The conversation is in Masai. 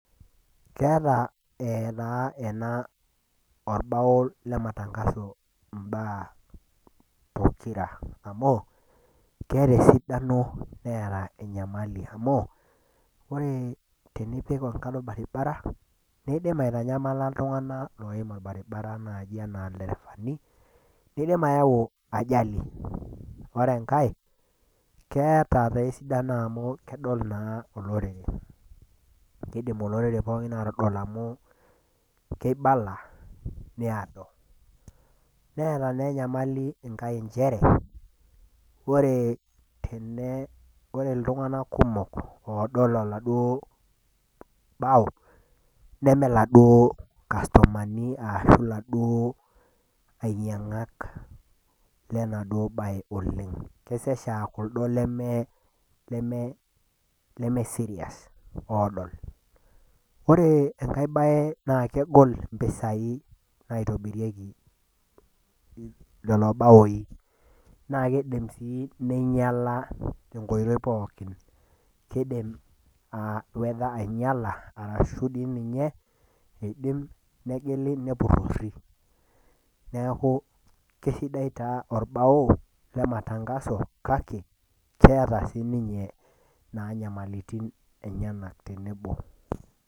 Keeta taa orbao lemetengaso imbaa pokira amu keeta esidano neeta enyamali amu tenipik enkalo orbaribara neidim aitanyamala iltunganak loim orbaribara naaji enaa lderefani neidim ayau ajali, ore enkae keeta naa esidano amu kedol olorere ,kidimi olorere pookin aaitodol amu keibala needoru ,neeta naa enkai nyamali nchere ore iltunganak kumok oodol oladuo bao neme laduo kastomani ashu laduo ainyangak lenaduo bae oleng kesesha aa lemesirias oodol .ore neke baae naa kegol mpisai naitobirieki lelo baoi naa keidim sii nainyala tenkoitoi pookin ,keidim wether ainyala ashu eidim dei ninye nepurori, neeku keisidai taa orbao lematangaso kake keeta siininye nyamalitin enyenak tenebo.